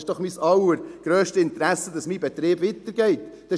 – Es ist doch mein allergrösstes Interesse, dass mein Betrieb weitergeführt wird.